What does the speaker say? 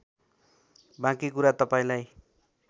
बाँकी कुरा तपाईँलाई